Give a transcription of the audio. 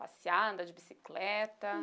Passear, andar de bicicleta?